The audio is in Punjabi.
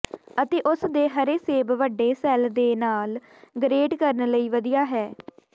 ਅਤੇ ਉਸ ਦੇ ਹਰੇ ਸੇਬ ਵੱਡੇ ਸੈੱਲ ਦੇ ਨਾਲ ਗਰੇਟ ਕਰਨ ਲਈ ਵਧੀਆ ਹੈ